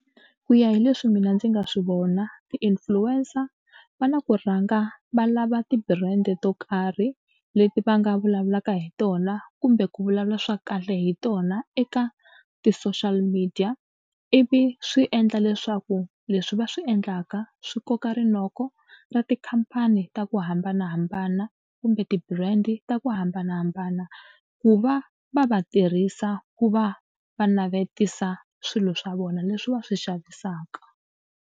Ku ya hi leswi mina ndzi nga swi vona ti-influencer va na ku rhanga va lava ti-brand to karhi leti va nga vulavulaka hi tona kumbe ku vulavula swa kahle hi tona eka ti-social media ivi swi endla leswaku leswi va swi endlaka swi koka rinoko ra tikhampani ta ku hambanahambana kumbe ti-brand ta ku hambanahambana ku va va va tirhisa ku va va navetisa swilo swa vona leswi va swi xavisaka.